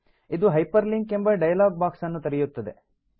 ಇದು ಹೈಪರ್ಲಿಂಕ್ ಎಂಬ dialog box ಅನ್ನು ತೆರೆಯುತ್ತದೆ